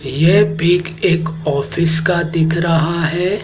ये पिक एक ऑफिस का दिख रहा है।